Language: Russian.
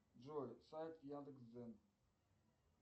джой сайт яндекс дзен